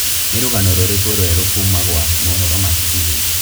nī rūgano rūrīkū rūerū kuma gwa mohoro ma citizen